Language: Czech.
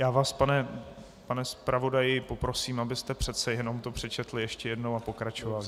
Já vás, pane zpravodaji, poprosím, abyste přece jenom to přečetl ještě jednou a pokračoval.